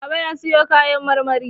Baba ya sayo kayan marmari.